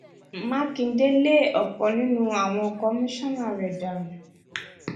mákindé lé ọkan nínú àwọn commisioner rẹ dànù